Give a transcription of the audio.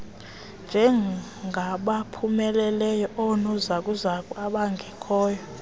njengabaphumeleleyo oonozakuzaku abangekhoyo